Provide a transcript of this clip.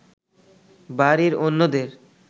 বাড়ির অন্যদের